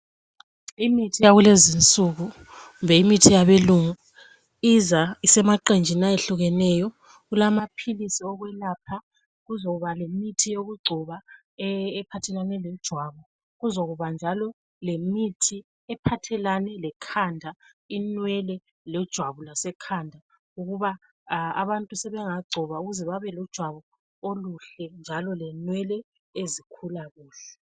Imithi yalezo insuku kumbe imithi yabelungu ibuya ibuya isemaqembini ayehlukeneyo kulama philisi okulapha, kuzokuba lomuthi yokugcoba ephathelane lejwabu kuzokuba njalo lemithi ephathelane le khanda inywele lejwabu lase khanda, abantu sebengagcoba ukuze bebe lejwabu elihle njalo lenwele ezikhula kuhle.